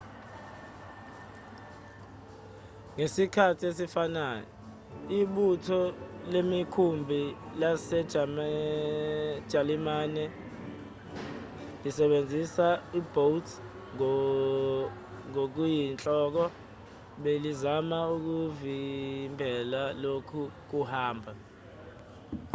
ngesikhathi esifanayo ibutho lemikhumbi lasejalimane lisebenzisa ama-u-boat ngokuyinhloko belizama ukuvimbela lokhu kuhamba